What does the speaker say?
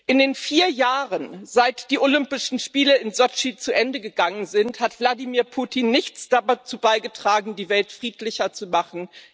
In den vier Jahren, seit die Olympischen Spiele in Sotschi zu Ende gegangen sind, hat Wladimir Putin nichts dazu beigetragen, die Welt friedlicher zu machen.